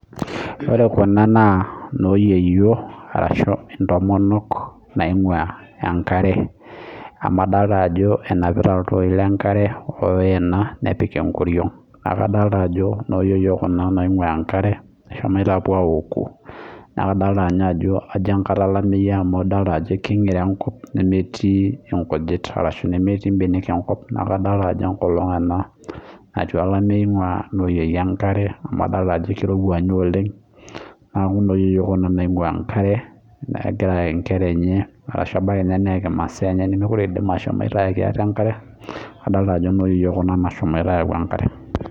Ore Kuna naa enoyiyio asu ntomonok naingua enkare amu adolita Ajo enapitai entoki lee nkare oyena nepiki enkoriog neeku adolita Ajo noo yieyio Kuna naingua enkare eshomoite awoku naa kadolita Ajo enkata olameyu amu edolita Ajo king'iro enkop nemetii nkujit ashu mbanek enkop neeku kadolita Ajo enkolog ena natii olamei nenapitaa noo yieyio enkare amu adolita ninye Ajo kirowua oleng neeku noo yieyio Kuna naingua enkare egira ayaki enkera enye ashu ebaiki naa saai nemekure edim ashomo ayaki atee enkare adolita Ajo noo yieyio Kuna nashomo ayau enkare